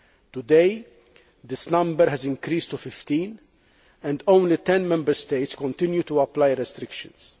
Today, this number has increased to 15 and only ten Member States continue to apply restrictions.